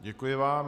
Děkuji vám.